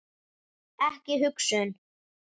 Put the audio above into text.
Ekki hugsun.